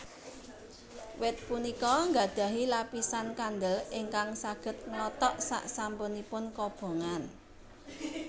Wit punika nggadhahi lapisan kandel ingkang saged nglothok sasampunipun kobongan